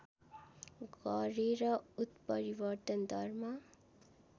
गरेर उत्परिवर्तन दरमा